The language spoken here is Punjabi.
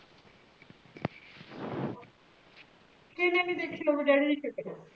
ਕੀਨੀ ਕ ਇਹਦੇ ਡੈਡੀ ਦੀ ਸ਼ਕ